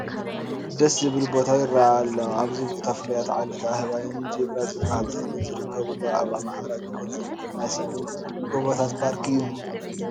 ደስ ዝብል ቦታ ይርአ ኣሎ፡፡ እዚ ቦታ ፍሉያት ዓሌት ኣህባይን ጂብራ ዝበሃል ተኽልን ዝርከበሉ ኣብ ኣምሓራ ክልል ዝርከብ ናይ ሰሜን ጎቦታት ፓርክ እዩ፡፡